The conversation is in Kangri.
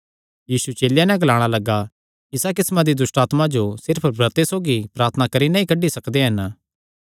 यीशु चेलेयां नैं ग्लाणा लग्गा इस तरांह दी दुष्टआत्मा जो सिर्फ ब्रते सौगी प्रार्थना करी नैं ई कड्डी सकदे हन